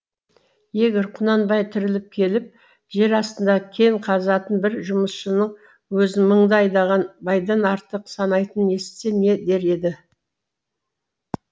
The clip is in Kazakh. егер құнанбай тіріліп келіп жер астында кен қазатын бір жұмысшының өзін мыңды айдаған байдан артық санайтынын естісе не дер еді